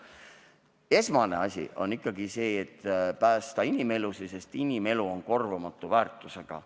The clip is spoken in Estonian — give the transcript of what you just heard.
Aga esmatähtis on ikkagi päästa inimelusid, sest inimelu on korvamatu väärtusega.